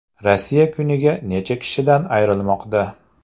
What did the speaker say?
Rossiya kuniga necha kishidan ayrilmoqda?